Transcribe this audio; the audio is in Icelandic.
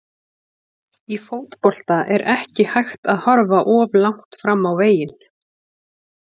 Í fótbolta er ekki hægt að horfa of langt fram á veginn.